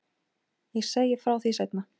Ég segi frá því seinna.